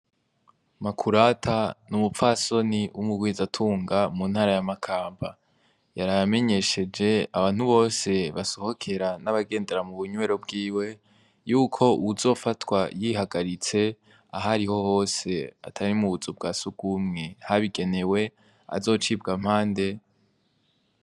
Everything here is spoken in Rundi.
Makurata n’umupfasoni w’umugwizatunga mu ntara ya Makamba, yaraye amenyesheje abantu bose basohokera n’abagendera mubunywero bwiwe, yuko uwuzofatwa yihagaritse ahariho hose atari mubuzu bwa sugumwe bwabigenewe azocibw’amande.